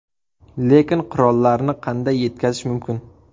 Lekin qurollarni qanday yetkazish mumkin?